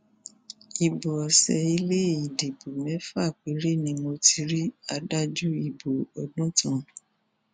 ibo ọsẹ ilé ìdìbò mẹfà péré ni mo ti rí adájú ìbò òdùntàn